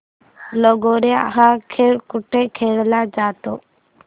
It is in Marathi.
लगोर्या हा खेळ कुठे खेळला जातो